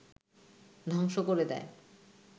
ধ্বংস করে দেয়